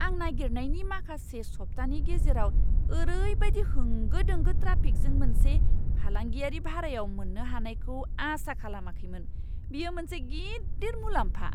आं नागिरनायनि माखासे सप्तानि गेजेराव ओरैबादि होंगो दोंगो ट्राफिकजों मोनसे फालांगियारि भारायाव मोन्नो हानायखौ आसा खालामाखैमोन, बेयो मोनसे गिदिर मुलाम्फा!